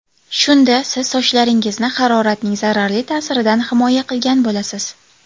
Shunda siz sochlaringizni haroratning zararli ta’siridan himoya qilgan bo‘lasiz.